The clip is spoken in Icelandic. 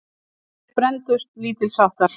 Nokkrir brenndust lítilsháttar.